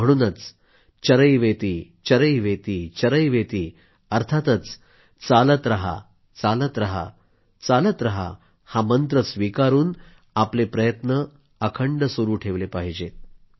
म्हणूनच चरैवेतिचरैवेतिचरैवेति अर्थातच चालत रहा चालत रहा चालत रहा हा मंत्र स्वीकारून आपले प्रयत्न अखंड सुरू ठेवले पाहिजेत